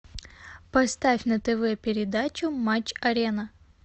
поставь на тв передачу матч арена